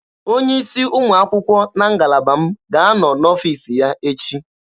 Onye isi ụmụ akwụkwọ na ngalaba m ga-anọ n'ọfiisi ya echi